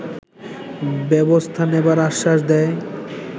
ব্যবস্থা নেবার আশ্বাস দেয়